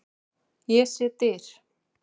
Ég sé dyr.